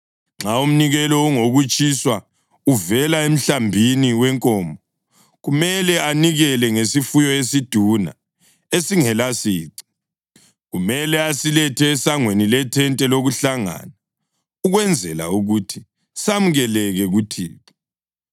Nxa umnikelo ungowokutshiswa uvela emhlambini wenkomo, kumele anikele ngesifuyo esiduna esingelasici. Kumele asilethe esangweni lethente lokuhlangana ukwenzela ukuthi samukeleke kuThixo.